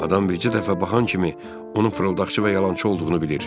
Adam bircə dəfə baxan kimi onun fırıldaqçı və yalançı olduğunu bilir.